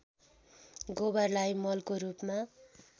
गोबरलाई मलको रूपमा